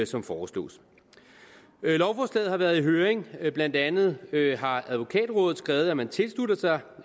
som foreslås lovforslaget har været i høring blandt andet har advokatrådet skrevet at man tilslutter sig